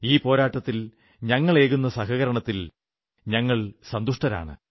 ഈ പോരാട്ടത്തിൽ ഞങ്ങളേകുന്ന സഹകരണത്തിൽ ഞങ്ങൾ സന്തുഷ്ടരാണ്